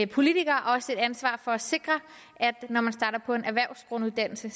politikere også et ansvar for at sikre at når man starter på en erhvervsgrunduddannelse